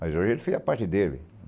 Mas hoje ele fez a parte dele.